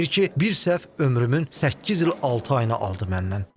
Deyir ki, bir səhv ömrümün səkkiz il altı ayını aldı məndən.